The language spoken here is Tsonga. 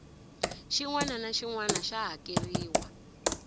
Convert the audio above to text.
xinwana naxinwana xa hakerhiwa